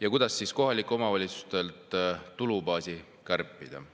ja kuidas kohalike omavalitsuste tulubaasi kärpida.